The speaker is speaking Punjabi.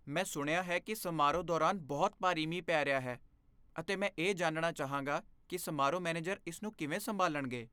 ਮੈਂ ਸੁਣਿਆ ਹੈ ਕਿ ਸਮਾਰੋਹ ਦੌਰਾਨ ਬਹੁਤ ਭਾਰੀ ਮੀਂਹ ਪੈ ਰਿਹਾ ਹੈ ਅਤੇ ਮੈਂ ਇਹ ਜਾਣਨਾ ਚਾਹਾਂਗਾ ਕਿ ਸਮਾਰੋਹ ਮੈਨੇਜਰ ਇਸ ਨੂੰ ਕਿਵੇਂ ਸੰਭਾਲਣਗੇ।